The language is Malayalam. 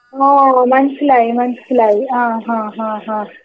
ഓ ഓ മനസിലായി മനസിലായി ആ ആ ആ ആ.